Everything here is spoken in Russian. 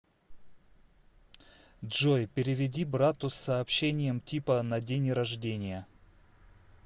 джой переведи брату с сообщением типа на день рождения